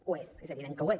ho és és evident que ho és